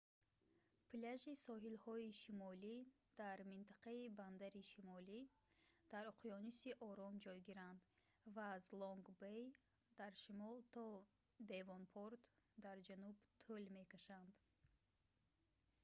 пляжи соҳилҳои шимолӣ дар минтақаи бандари шимолӣ дар уқёнуси ором ҷойгиранд ва аз лонг бей дар шимол то девонпорт дар ҷануб тӯл мекашанд